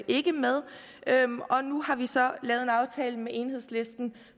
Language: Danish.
ikke med og nu har vi så lavet en aftale med enhedslisten